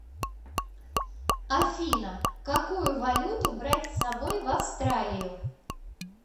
афина какую валюту брать с собой в австралию